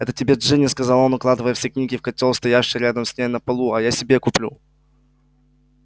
это тебе джинни сказал он укладывая все книги в котёл стоявший рядом с ней на полу а я себе куплю